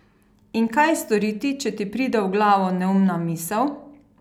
In kaj storiti, če ti pride v glavo neumna misel?